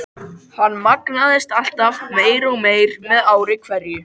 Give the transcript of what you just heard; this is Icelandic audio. Hann magnaðist alltaf meir og meir með ári hverju.